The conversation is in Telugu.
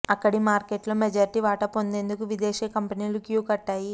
ఇక్కడి మార్కెట్లో మెజార్టీ వాటా పొందేందుకు విదేశీ కంపెనీలు క్యూ కట్టాయి